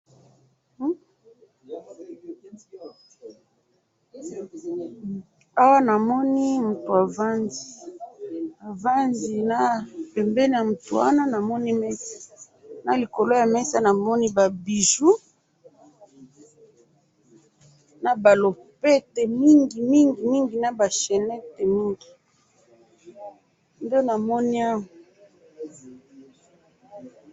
awa namoni mutu avandi ,avandi na pembeni ya mutu wana namoni mesa na likolo ya mesa namoni ba bijoux naba lopete mingi mningi na ba chnette mingi nde namoni awa